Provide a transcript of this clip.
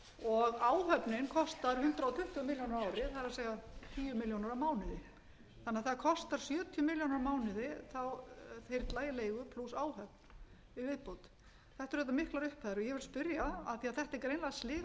og áhöfnin kostar hundrað tuttugu milljónir á ári það er tíu milljónir á mánuði þannig að það kostar sjötíu milljónum á mánuði þyrla í leigu plús áhöfn í viðbót þetta eru auðvitað miklar upphæðir og ég vil spyrja af því að þetta eru greinilega hliðar